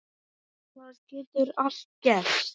Það getur allt gerst.